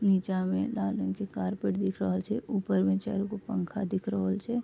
नीचा मे लाल रंग के कार्पेट दिख रहल छै ऊपर में चारगो पंखा दिख छै।